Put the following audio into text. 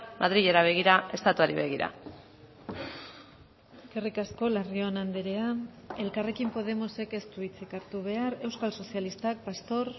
madrilera begira estatuari begira eskerrik asko larrion andrea elkarrekin podemosek ez du hitzik hartu behar euskal sozialistak pastor